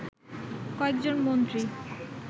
কয়েকজন মন্ত্রী